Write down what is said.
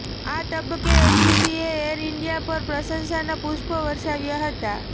આ તબક્કે એટીસીએ એર ઇન્ડિયા પર પ્રશંસાના પુષ્પો વર્ષાવ્યાં હતાં